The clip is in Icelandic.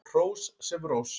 Hrós sem rós.